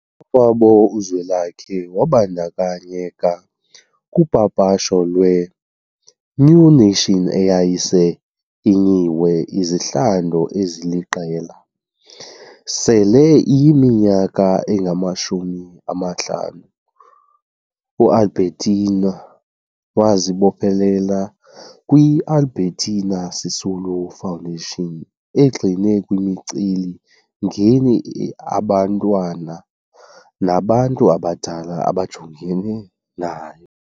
kwabo uZwelakhe wabandakanyeka kupapasho lwe- New Nation eyayisele inyinwe izihlandlo eziliqela. Sele iyiminyaka engamashumi amahlanu u- Albertina wazibophelela kwi- Albertina Sisulu Foundation egxile kwimicelimngeni abantwana nabantu abadala abajongene nayo.